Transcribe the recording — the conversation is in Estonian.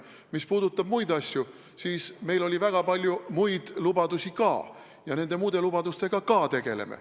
Mis puudutab muid asju, siis meil oli väga palju muid lubadusi ka ja nende muude lubadustega me ka tegeleme.